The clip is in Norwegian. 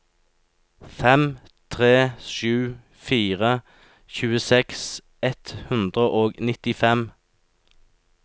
fem tre sju fire tjueseks ett hundre og nittifem